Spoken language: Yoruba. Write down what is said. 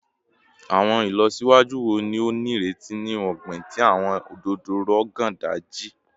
Awọn ilọsiwaju wo ni o nireti ni ogbin ti awọn ododo Rogon Daji?